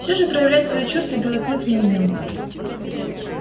все же проявлять свои чувства белый клык не умел